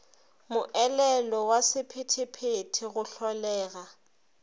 moelelo wa sephethephethe go hlolega